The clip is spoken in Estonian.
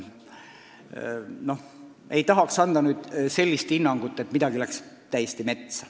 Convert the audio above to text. Ma ei taha anda sellist hinnangut, et midagi läks täiesti metsa.